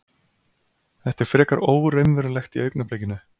Þetta er frekar óraunverulegt í augnablikinu.